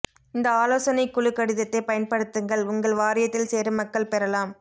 இந்த ஆலோசனைக் குழு கடிதத்தைப் பயன்படுத்துங்கள் உங்கள் வாரியத்தில் சேர மக்கள் பெறலாம்